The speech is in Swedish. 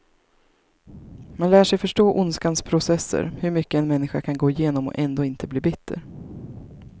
Man lär sig förstå ondskans processer, hur mycket en människa kan gå igenom och ändå inte bli bitter.